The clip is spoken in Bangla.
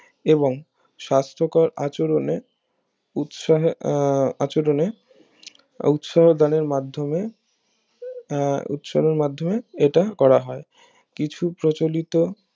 এবং স্বাস্থকর আচরণে উৎসাহে আহ আচরণে উৎসাহদানে মাধ্যমে এর উৎসাহের মাধ্যমে এটা করাহয় কিছু প্রচলিত